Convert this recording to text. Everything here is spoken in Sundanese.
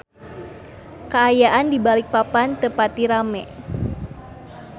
Kaayaan di Balikpapan teu pati rame